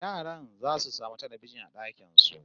Yaran zasu samu talbijin a dakin su